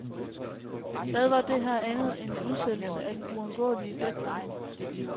Hvad var det her andet end en udsættelse af den uundgåelige deadline?